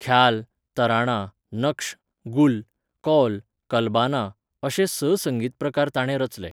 ख्याल, तराणा, नक्श, गुल, कौल, कल्बाना अशे स संगीत प्रकार ताणें रचले.